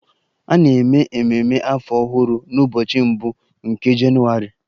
A na-eme ememe afọ ọhụrụ n'ụbọchị mbụ nke Jenụwarị